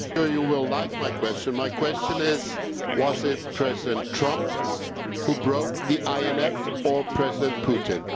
You will like my question, my question is was it President Trump who broke the INF or President Putin?